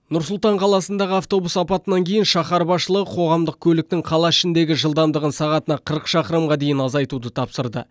нұр сұлтан қаласындағы автобус апатынан кейін шаһар басшылығы қоғамдық көліктің қала ішіндегі жылдамдығын сағатына қырық шақырымға дейін азайтуды тапсырды